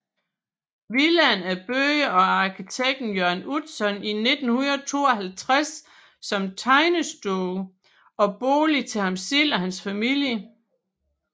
Villaen er bygget af arkitekten Jørn Utzon i 1952 som tegnestue og bolig til ham selv og hans familie